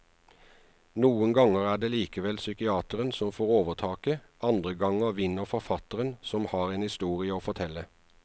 Noen ganger er det likevel psykiateren som får overtaket, andre ganger vinner forfatteren som har en historie å fortelle.